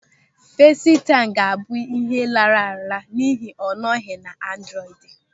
Fesịtaịm ga-abụ ịhe lara ala n'ihi na ọ nọghị na androidi.